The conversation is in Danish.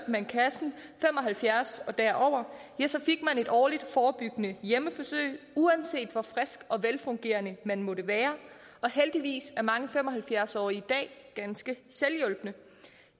man kassen fem og halvfjerds år og derover så fik man et årligt forebyggende hjemmebesøg uanset hvor frisk og velfungerende man måtte være heldigvis er mange fem og halvfjerds årige i dag ganske selvhjulpne